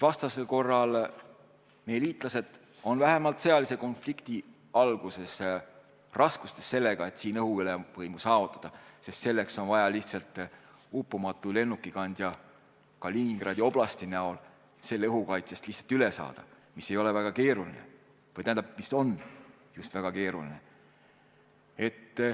Vastasel korral meie liitlased on vähemalt sõjalise konflikti alguses raskustes, et siin õhuruumis ülemvõimu saavutada.